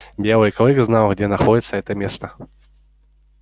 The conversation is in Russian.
белый клык знал где находится это место